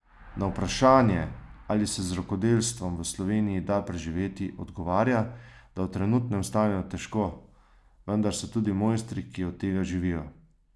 Na vprašanje, ali se z rokodelstvom v Sloveniji da preživeti, odgovarja, da v trenutnem stanju težko, vendar so tudi mojstri, ki od tega živijo.